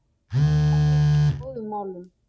Valur í góðum málum